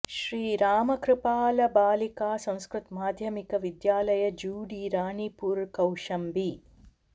श्री रामकृपाल बालिका संस्कृत माध्यमिक विद्यालय जूडी रानीपुर कौशाम्बी